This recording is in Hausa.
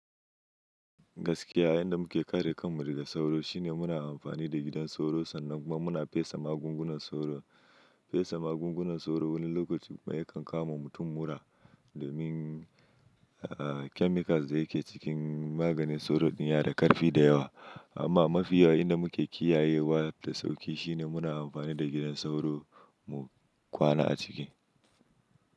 Gaskiya, yanda muke kare kanmu daga sauro shine, muna amfani da gidan sauro, sannan kuma muna fesa magungunan sauro. Fesa magungunan sauro wani lokaci yakan kawo ma mutum mura, domin chemicals da yake cikin maganin sauro din ya na da karfi da yawa. Amma mafi yawa inda muke kiyayewa da sauƙi, shine muna amfani da gidan sauro mu kwana a ciki.